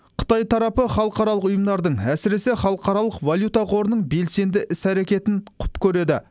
қытай тарапы халықаралық ұйымдардың әсіресе халықаралық валюта қорының белсенді іс әрекетін құп көреді